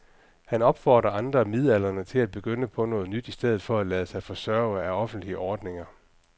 Han opfordrer andre midaldrende til at begynde på noget nyt i stedet for at lade sig forsørge af offentlige ordninger.